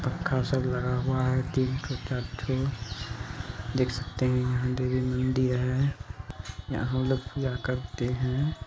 पंखा सब लगा हुआ है तीन ठो चार ठो देख सकते है यह यहाँ हम लोग क्या करते है